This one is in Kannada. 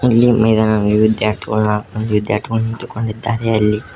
ಇಲ್ಲಿ ಮೈದಾನದಲ್ಲಿ ವಿದ್ಯಾರ್ಥಿಗಳ ವಿದ್ಯಾರ್ಥಿಗಳು ನಿಂತುಕೊಂಡಿದ್ದಾರೆ ಅಲ್ಲಿ--